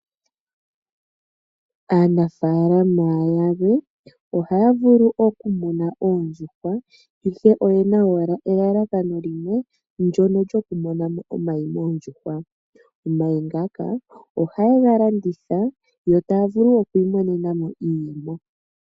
Aanafaalama yalwe ohaya vulu oku muna oondjuhwa, ihe oyena owala elalakano limwe, ndono lyoku mona mo omayi moondjuhwa. Omayi ngaka ohaye ga landitha, yo taya vulu oku imonena mo iiyemo.